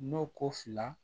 N'o ko fila